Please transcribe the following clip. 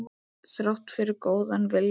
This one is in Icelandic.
Þrátt fyrir góðan vilja.